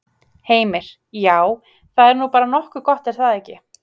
Heimir: Já, það er nú bara nokkuð gott er það ekki?